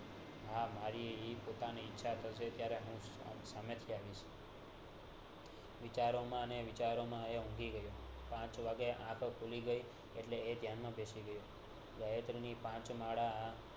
આ મારી પોતાની ઈચ્છા થશે ત્યારે હું સામે થિ આવીશ વિચારો માં ને વિચારો માં એ હુંઘી ગયો પાંચ વાગે આંખ ખુલી ગયી એટલે એ દયાન માં બેસી ગયો પાંચ માળા